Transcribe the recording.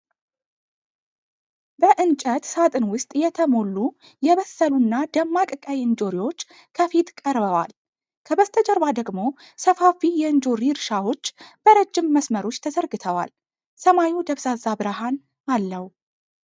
በእንጨት ሳጥን ውስጥ የተሞሉ የበሰሉ እና ደማቅ ቀይ እንጆሪዎች ከፊት ቀርበዋል። ከበስተጀርባ ደግሞ ሰፋፊ የእንጆሪ እርሻዎች በረጅም መስመሮች ተዘርግተዋል፤ ሰማዩ ደብዛዛ ብርሃን አለው።